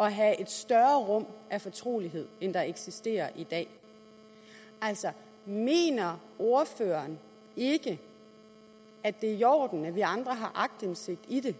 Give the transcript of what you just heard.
at have et større rum af fortrolighed end der eksisterer i dag mener ordføreren ikke at det er i orden at vi andre har aktindsigt i det